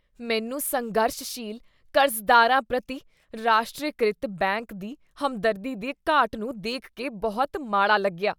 ਮੈਨੂੰ ਸੰਘਰਸ਼ਸ਼ੀਲ ਕਰਜ਼ਦਾਰਾਂ ਪ੍ਰਤੀ ਰਾਸ਼ਟਰੀਕ੍ਰਿਤ ਬੈਂਕ ਦੀ ਹਮਦਰਦੀ ਦੀ ਘਾਟ ਨੂੰ ਦੇਖ ਕੇ ਬਹੁਤ ਮਾੜਾ ਲੱਗਿਆ।